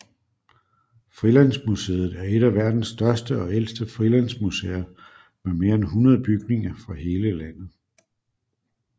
Frilandsmuseet er et af verdens største og ældste frilandsmuseer med mere end 100 bygninger fra hele landet